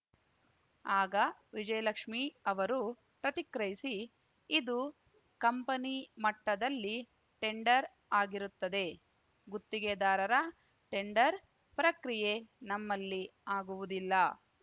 ಆಗ ವಿಜಯಲಕ್ಷ್ಮೀ ಅವರು ಪ್ರತಿಕ್ರಿಯಿಸಿ ಇದು ಕಂಪನಿ ಮಟ್ಟದಲ್ಲಿ ಟೆಂಡರ್‌ ಆಗಿರುತ್ತದೆ ಗುತ್ತಿಗೆದಾರರ ಟೆಂಡರ್‌ ಪ್ರಕ್ರಿಯೆ ನಮ್ಮಲ್ಲಿ ಆಗುವುದಿಲ್ಲ